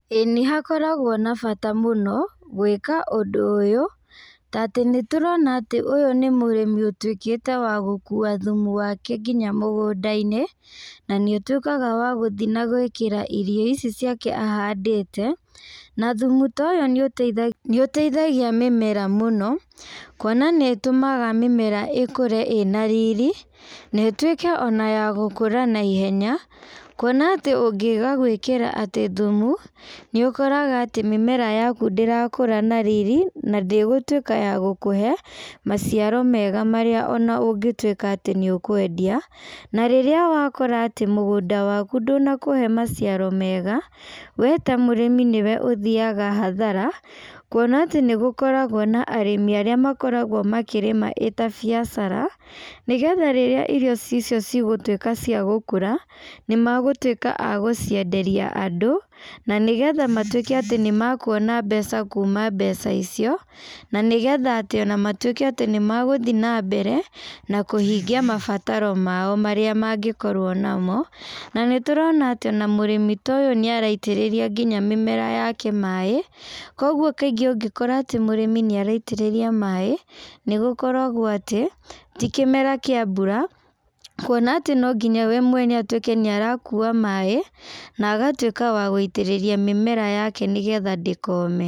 Ĩĩ nĩhakoragwo na bata mũno, gwĩka ũndũ ũyũ, ta atĩ nĩtũrona atĩ ũyũ nĩ mũrĩmi ũtuĩkĩte wa gũkua thumu waku nginya mũgũndainĩ, na nĩũtuĩkaga wa gũthi na gwĩkĩra irio ici ciake ahandĩte, na thumu ta ũyũ nĩũte nĩũteithagia mĩmera mũno, kuona nĩũtũmaga mĩmera ĩkũre ĩna riri, na ĩtuĩke ona ya gũkũra na ihenya, kuona atĩ ũngiaga gwĩkĩra atĩ thumu, nĩũkoraga atĩ mĩmera yaku ndĩrakũrũ na riri, na ndĩgũtuĩka ya gũkũhe, maciaro mega marĩa ona ũngĩtuĩka atĩ nĩũkwendia, na rĩrĩa wakora atĩ mũgũnda waku ndũnakũhe maciaro mega, we ta mũrĩmi nĩwe ũthiaga hathara, kuona atĩ nĩgũkoragwo na arĩmi arĩa makoragwo makĩrĩma ĩ ta biacara, nĩgetha rĩrĩa irio icio cigũtuĩka cia gũkũra, nĩmagũtuĩka a gũcienderia andũ, na nĩgetha matuĩke atĩ nĩmakũona mbeca kuma mbeca icio, na nĩgetha atĩ ona matuĩke atĩ nĩmagũthi nambere, na kũhingia mabataro mao marĩa mangĩkorwo namo, na nĩtũrona atĩ ona mũrĩmi ta ũyũ nĩaraitĩrĩria nginya mĩmera yake maĩ, koguo kaingĩ ũngĩkora atĩ mũrĩmi nĩaraitĩrĩria maĩ, nĩgũkoragwo atĩ, ti kĩmera kĩa mbura, kuona atĩ no nginya we mwene ũtuĩke nĩarakua maĩ, na agatuĩka wa gũitĩrĩria mĩmera yake nĩgetha ndĩkome.